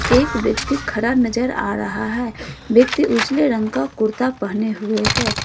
एक व्यक्ति खड़ा नजर आ रहा है व्यक्ति उसने रंग का कुर्ता पहने हुए हैं।